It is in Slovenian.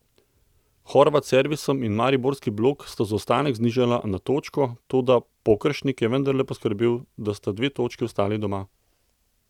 Horvat s servisom in mariborski blok sta zaostanek znižala na točko, toda Pokeršnik je vendarle poskrbel, da sta dve točki ostali doma.